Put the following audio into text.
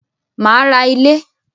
Màá ra ilé